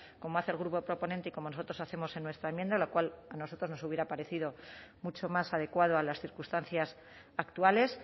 como hace el grupo proponente y como nosotros hacemos en nuestra enmienda lo cual a nosotros nos hubiera parecido mucho más adecuado a las circunstancias actuales